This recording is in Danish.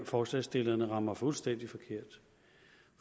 forslagsstillerne rammer fuldstændig forkert